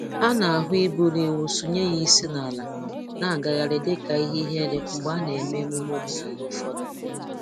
A na-ahụ iburu ewu sọnye ya isi n'ala na-agagharị dịka ihe ihere mgbe a na-eme emume omenaala ụfọdụ